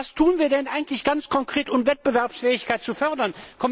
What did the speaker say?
Was tun wir denn eigentlich ganz konkret, um Wettbewerbsfähigkeit zu fördern?